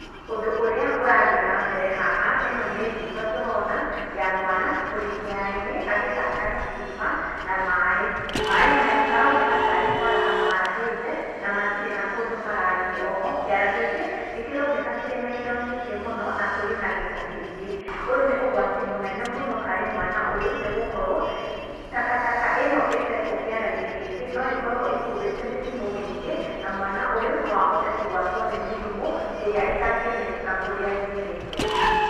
Ũndũ ũrĩa ũrathiĩ nambere haha, ĩno nĩ mbica tũrona, ya mwana, ũrĩ kĩara-inĩ, agĩthaka na cuba, na maaĩ. Maaĩ maya maroneka tarĩ kwaraha marahĩte, na matirĩ na kũndũ marathiĩ. Oho, kĩara gĩkĩ, nĩkĩroneka kĩrĩ na indo nyingĩ mũno, na kũrĩ na gĩko kĩingĩ. Ũyũ nĩ ũgwati mũnene mũno harĩ mwana ũyũ, nĩgũkorwo takataka ĩno ĩtetwo kĩara-inĩ gĩkĩ, no ĩkorwo ĩkuĩte mĩrimũ mĩingĩ, na mwana ũyũ. noahote kũgwatwo nĩ mĩrimũ, ĩrĩa ĩtangĩmenyeka kũrĩa yumĩte.